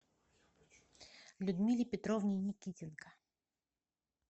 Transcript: людмиле петровне никитенко